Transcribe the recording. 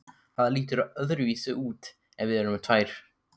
Það lítur öðruvísi út ef við erum tvær.